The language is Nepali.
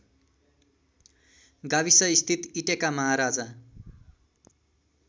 गाविसस्थित इटेका महाराजा